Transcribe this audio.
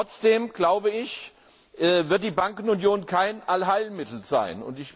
Trotzdem, glaube ich, wird die Bankenunion kein Allheilmittel sein.